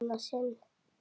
Í annað sinn.